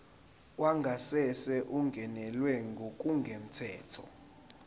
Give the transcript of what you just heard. wangasese ungenelwe ngokungemthetho